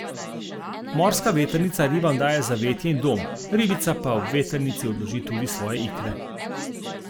Morska vetrnica ribam daje zavetje in dom, ribica pa ob vetrnici odloži tudi svoje ikre.